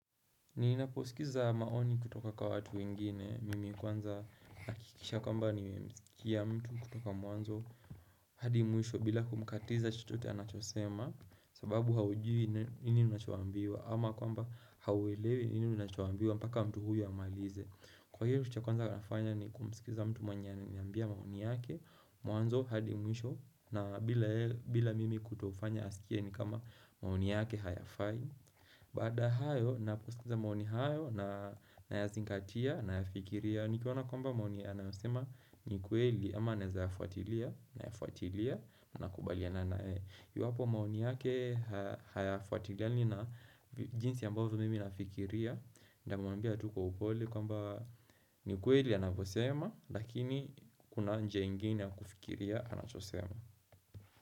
Ninaposikiza maoni kutoka kwa watu wengine, mimi kwanza akikisha kwamba nimemsikia mtu kutoka mwanzo, hadi mwisho bila kumkatiza chochote anachosema, sababu haujui nini unachoambiwa, ama kwamba hauelewi nini unachoambiwa mpaka mtu huyo amalize. Kwa hivo kitu cha kwanza nafanya ni kumsikiza mtu mwenye ananiambia maoni yake, mwanzo hadi mwisho, na bila mimi kutofanya asikie ni kama maoni yake hayafai. Baada ya hayo ninaposikiza maoni hayo na ya zingatia na ya fikiria Nikiona kwamba maoni anayosema nikweli ama naeza fuatilia na ya fuatilia na kukubaliana nae iwapo maoni yake hay fuatiliani na jinsi ambavyo mimi nafikiria Nitamwambia tu kwa upole kwamba nikweli anavosema lakini kuna njia ingine ya kufikiria anachosema.